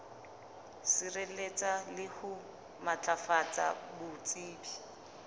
sireletsa le ho matlafatsa botsebi